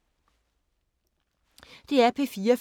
DR P4 Fælles